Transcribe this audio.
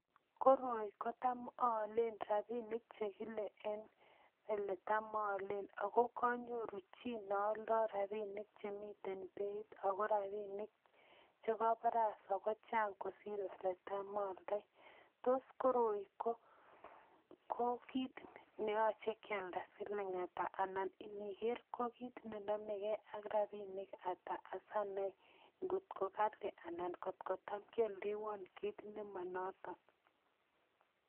Koroi kotam ayalen rabinik chekile en eletam Alen akokanyoru chi ngealda rabinik Chemiten Beit ako rabinik chekabare sawa kochang kosir yeletam ayaldai tos koroi ko kit neyache kiyalfa smiling ata anan biker ko kit nenamege AK rabinik Ata Sinai ngot ko Kali anan kotkotam kialdewon kit nemanoton